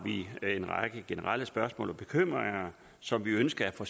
vi en række generelle spørgsmål og bekymringer som vi ønsker at få